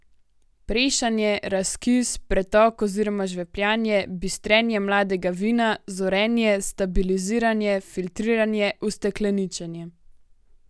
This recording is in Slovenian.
Prešanje, razkis, pretok oziroma žvepljanje, bistrenje mladega vina, zorenje, stabiliziranje, filtriranje, ustekleničenje.